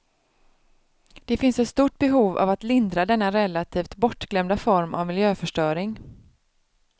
Det finns ett stort behov av att lindra denna relativt bortglömda form av miljöförstöring.